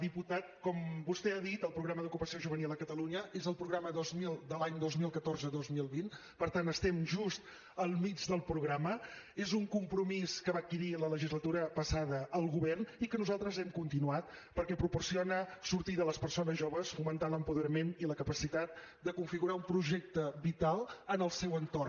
diputat com vostè ha dit el programa d’ocupació juvenil a catalunya és el programa dos mil de l’any dos mil catorze dos mil vint per tant estem just al mig del programa és un compromís que va adquirir la legislatura passada el govern i que nosaltres hem continuat perquè proporciona sortida a les persones joves fomentant l’apoderament i la capacitat de configurar un projecte vital en el seu entorn